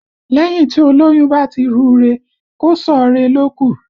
Lẹ́yìn tí olóyún bá ti rù ú re, kò sọ̀ ọ́ re ló kù